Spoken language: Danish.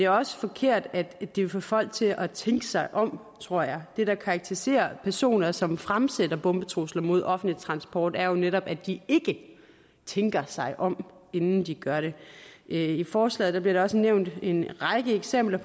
også forkert at at det vil få folk til at tænke sig om tror jeg det der karakteriserer personer som fremsætter bombetrusler mod offentlig transport er jo netop at de ikke tænker sig om inden de gør det i forslaget bliver der også nævnt en række eksempler